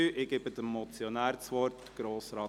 Ich gebe dem Motionär das Wort.